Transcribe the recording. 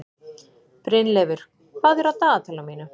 Brynleifur, hvað er á dagatalinu mínu í dag?